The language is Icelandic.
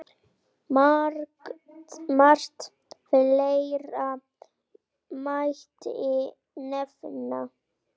Margt fleira mætti nefna.